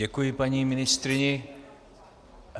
Děkuji paní ministryni.